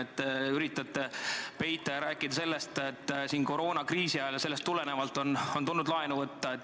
Te üritate peita ja rääkida sellest, et koroonakriisi ajal ja sellest tulenevalt on tulnud laenu võtta.